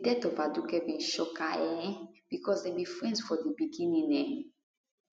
di death of aduke bin shock her um becos dem be friends from di beginning um